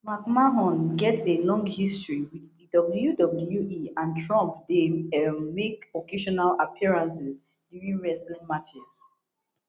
mcmahon get a long history wit di wwe and trump dey um make occasional appearances during wrestling matches